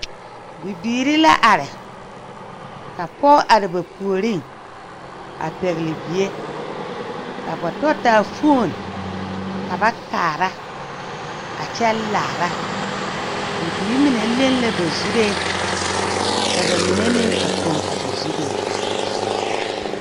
Bibiire la are ka pɔɔ are ba puoriŋ a pɛgle bie ka ba tɔ taa foon ka ba kaara a kyɛ laara a bibiire mine leŋ la ba zuree ka ba mine meŋ a poŋ a ba zuree.